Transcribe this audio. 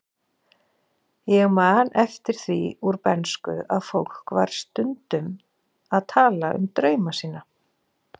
Ég man eftir því úr bernsku að fólk var stundum að tala um drauma sína.